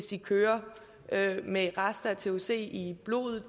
de kører med rester af thc i blodet